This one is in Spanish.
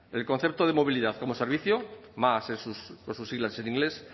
el concepto de movilidad como servicio más por sus siglas en inglés